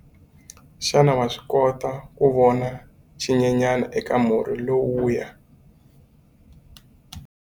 Xana wa swi kota ku vona xinyenyana eka murhi lowuya?